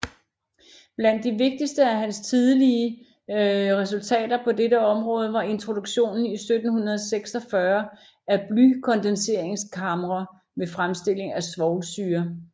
Blandt de vigtigste af hans tidlige resultater på dette område var introduktionen i 1746 af blykondenseringskamre ved fremstilling af svovlsyre